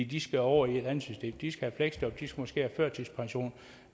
de skal over i et andet system de skal have fleksjob de skal måske have førtidspension